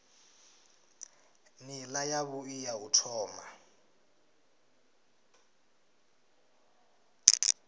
nila yavhui ya u thoma